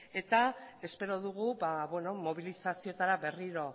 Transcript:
espero dugu mobilizazioetara berriro